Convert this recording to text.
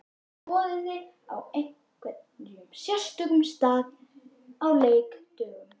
Borðið þið á einhverjum sérstökum stað á leikdögum?